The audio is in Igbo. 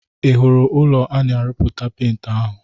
Ị hụrụ ụlọ a na-arụpụta penti ahụ?